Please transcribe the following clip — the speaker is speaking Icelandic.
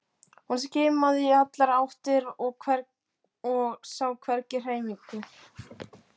Hún skimaði í allar áttir en sá hvergi hreyfingu.